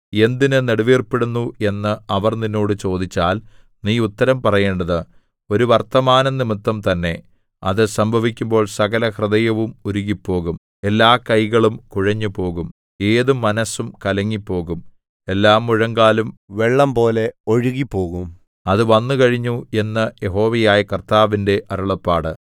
എന്തിന് നെടുവീർപ്പിടുന്നു എന്ന് അവർ നിന്നോട് ചോദിച്ചാൽ നീ ഉത്തരം പറയേണ്ടത് ഒരു വർത്തമാനംനിമിത്തം തന്നെ അത് സംഭവിക്കുമ്പോൾ സകലഹൃദയവും ഉരുകിപ്പോകും എല്ലാകൈകളും കുഴഞ്ഞുപോകും ഏതു മനസ്സും കലങ്ങിപ്പോകും എല്ലാമുഴങ്കാലും വെള്ളംപോലെ ഒഴുകിപ്പോകും അത് വന്നുകഴിഞ്ഞു എന്ന് യഹോവയായ കർത്താവിന്റെ അരുളപ്പാട്